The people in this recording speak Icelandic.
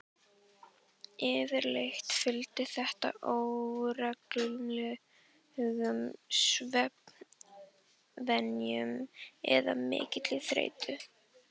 Yfirleitt fylgir þetta óreglulegum svefnvenjum eða mikilli þreytu.